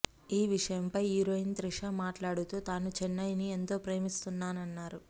ఈ విషయం పై హీరోయిన్ త్రిష మాట్లాడుతూ తాను చెన్నై ని ఎంతో ప్రేమిస్తానన్నారు